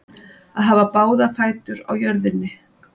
Að hafa báða fætur á jörðunni